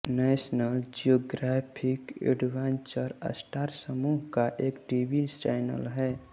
national Geographic Adventure Star समूह का एक टीवी चैनल है